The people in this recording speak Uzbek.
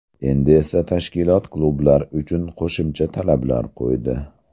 Endi esa tashkilot klublar uchun qo‘shimcha talablar qo‘ydi.